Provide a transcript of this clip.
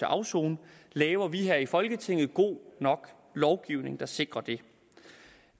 afsone laver vi her i folketinget god nok lovgivning der sikrer det